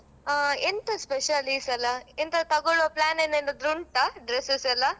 ಆ ಎಂತ special ಈ ಸಲ. ಎಂತಾದ್ರು ತಗೋಳ್ವ plan ಏನಾದ್ರು ಉಂಟಾ, dresses ಎಲ್ಲಾ?